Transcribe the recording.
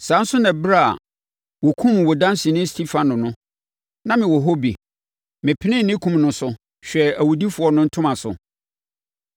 Saa ara nso na ɛberɛ a wɔkumm wo danseni Stefano no, na mewɔ hɔ bi. Mepenee ne kum no so, hwɛɛ awudifoɔ no ntoma so.’